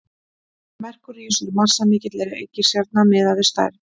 merkúríus er massamikil reikistjarna miðað við stærð